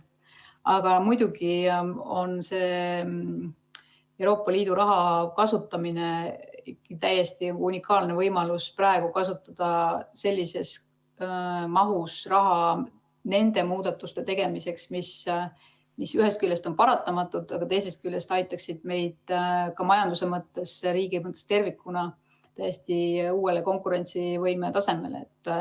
Aga muidugi on see Euroopa Liidu raha kasutamine täiesti unikaalne võimalus kasutada praegu sellises mahus raha nende muudatuste tegemiseks, mis ühest küljest on paratamatud, aga teisest küljest aitaksid meid ka majanduse mõttes, riigi mõttes tervikuna täiesti uuele konkurentsivõime tasemele.